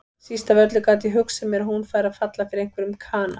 Síst af öllu gat ég hugsað mér að hún færi að falla fyrir einhverjum kana.